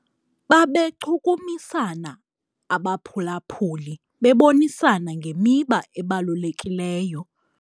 Babechukumisana abaphulaphuli bebonisana ngemiba ebalulekileyo.